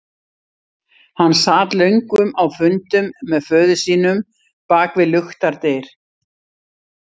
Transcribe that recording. Hann sat löngum á fundum með föður sínum bak við luktar dyr.